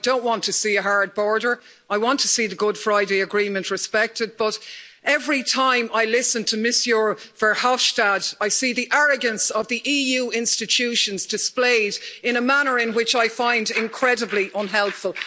I don't want to see a hard border and I want to see the Good Friday Agreement respected but every time I listen to Mr Verhofstadt, I see the arrogance of the EU institutions displayed in a manner which I find incredibly unhelpful.